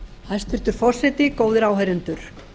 hæstvirtur forseti góðir áheyrendur